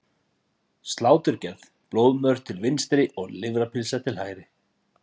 Sláturgerð, blóðmör til vinstri og lifrarpylsa til hægri.